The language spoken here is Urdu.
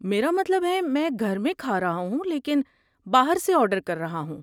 میرا مطلب ہے، میں گھر میں کھا رہا ہوں لیکن باہر سے آرڈر کر رہا ہوں۔